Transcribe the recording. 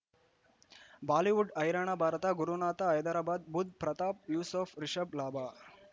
Bollywood ಹೈರಾಣ ಭಾರತ ಗುರುನಾಥ ಹೈದರಾಬಾದ್ ಬುಧ್ ಪ್ರತಾಪ್ ಯೂಸುಫ್ ರಿಷಬ್ ಲಾಭ